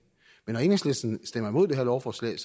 men når enhedslisten stemmer imod det her lovforslag